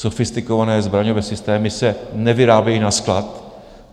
Sofistikované zbraňové systémy se nevyrábějí na sklad.